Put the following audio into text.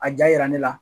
A ja yira ne la